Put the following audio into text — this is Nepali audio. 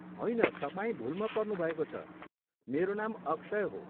होइन, तपाईँ भुलमा पर्नुभएको छ, मेरो नाम अक्षय हो।